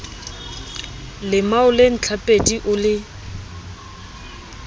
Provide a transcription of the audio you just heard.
lemao le ntlhapedi o le